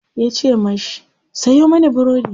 yace mashi "Sayo mani burodi!"